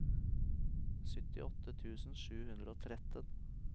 syttiåtte tusen sju hundre og tretten